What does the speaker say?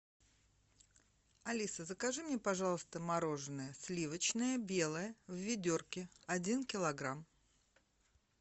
алиса закажи мне пожалуйста мороженое сливочное белое в ведерке один килограмм